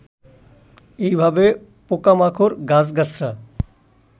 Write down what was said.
এই ভাবে পোকামাকড়, গাছগাছড়া